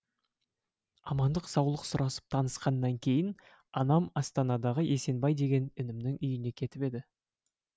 амандық саулық сұрасып танысқаннан кейін анам астанадағы есенбай деген інімнің үйіне кетіп еді